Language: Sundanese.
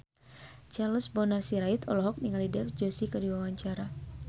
Charles Bonar Sirait olohok ningali Dev Joshi keur diwawancara